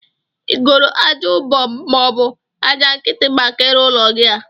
Igoro aja ubom mọọbụ aja nkiti maka ịrụ ụlọ gi a?